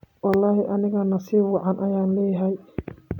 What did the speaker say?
Wlxi aniga nasib wacan ayan leyahy.